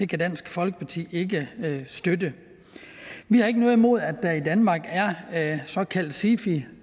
kan dansk folkeparti ikke støtte vi har ikke noget imod at der i danmark er såkaldte sifier